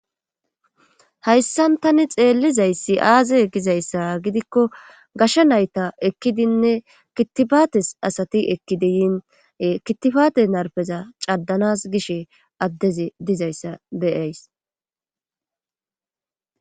Hayssan tani xeellizayssi aaze gizayssaa gidikko gashshe nayta ekkidinne kitifates asati ekkidi yine kitifate narpeza cadanas giishshe addezi dizayssa be'ays